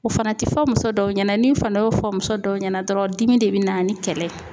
O fana tɛ fɔ muso dɔw ɲɛna n'i fana y'o fɔ muso dɔw ɲɛna dɔrɔn dimi de bɛ na ni kɛlɛ ye